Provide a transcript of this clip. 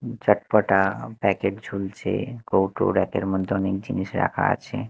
চটপটা packet ঝুলছে কৌটো rack -এর মধ্যে অনেক জিনিস রাখা আছে।